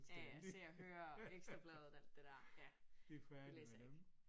Ja ja Se og Hør Ekstrabladet alt det der ja det læser jeg ikke